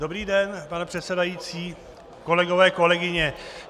Dobrý den, pane předsedající, kolegyně, kolegové.